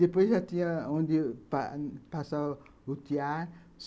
Depois já tinha onde passar o tiar.